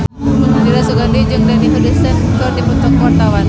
Dira Sugandi jeung Dani Harrison keur dipoto ku wartawan